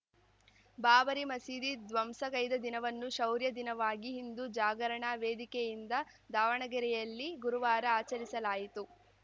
ಬಾಬರಿ ಮಸೀದಿ ದ್ವಂಸಗೈದ ದಿನವನ್ನು ಶೌರ್ಯ ದಿನವಾಗಿ ಹಿಂದು ಜಾಗರಣಾ ವೇದಿಕೆಯಿಂದ ದಾವಣಗೆರೆಯಲ್ಲಿ ಗುರುವಾರ ಆಚರಿಸಲಾಯಿತು